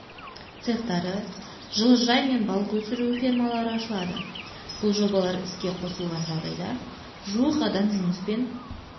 цехтары жылыжай мен балық өсіру фермалары ашылады бұл жобалар іске қосылған жағдайда жуық адам жұмыспен